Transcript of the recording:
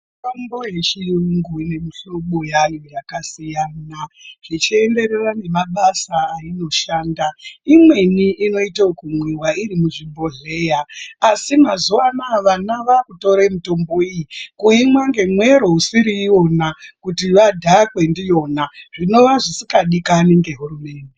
Mitombo yechiyungu ine mihlobo yayo yakasiyana, zvichienderera nemabasa ainoshanda imweni inoita yekumwiva iri muchibhodhleya. Asi mazuva anaya vana vakutore mitombo iyi kuimwa ngemwero usiri ivona kuti vadhakwe ndiyona, zvinova zvisikadikani ngehurumende.